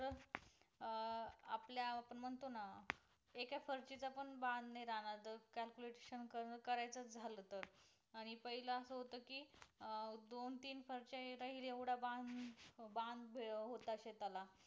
म्हणतो ना एका फारशी चा पण बांद नाही राहणार calculation करण करायचं झालं तर आणि पहिला असं होत कि अह दोन तीन फारश्या होता होईल येवढा बांद बांद होता शेताला